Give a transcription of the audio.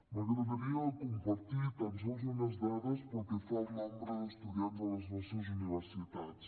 m’agradaria compartir tan sols unes dades pel que fa al nombre d’estudiants a les nostres universitats